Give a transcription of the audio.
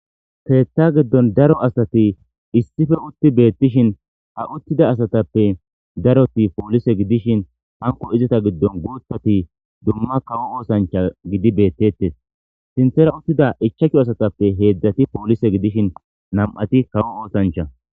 Keta giddon daro asati issipe utti beettishin ha uttida asatappe daroti poolise gidishin hanko izata giddon guutati dumma kawo osancha gidi bettettes sinththera uttida ichashu asatappe heedzdzati poolise gidishin nam7ati kawo osancha.